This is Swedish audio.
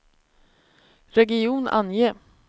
region, ange